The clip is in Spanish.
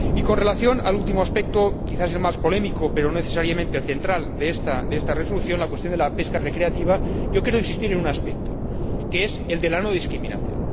Y en relación con el último aspecto, quizás el más polémico pero no necesariamente el asunto central de esta resolución, la cuestión de la pesca recreativa, quiero insistir en un aspecto, que es el de la no discriminación.